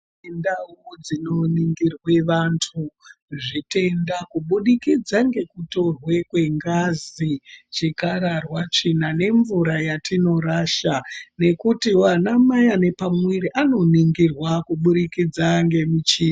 Ndau dzino ningirwe vantu zvitenda kubudikidza ngekutorwe kwengazi, chikararwa, tsvina nemvura yatinorasha nekuti vana mai vane pamuviri vanoningirwa kubudikidza ngemuchini...